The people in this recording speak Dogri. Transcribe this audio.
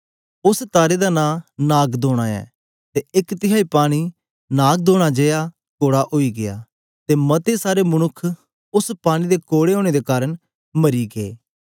उस्स तारे दा नां नागदौना ऐ ते एक तिहाई पानी नागदौना जेया कोड़ा ओई गीया ते मते सारे मनुक्ख उस्स पानी दे कोड़े ओनें दे कारन मरी गै